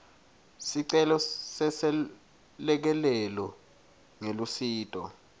sicelo seselekelelo ngelusito